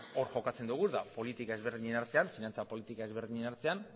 hor jokatzen dugu eta politika ezberdinen artean finantza politiken ezberdinen artean